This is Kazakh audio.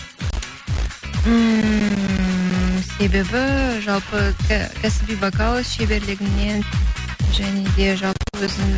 ммм себебі жалпы кәсіби вокал шеберлігінен және де жалпы өзін